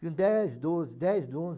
dez, doze, dez, doze.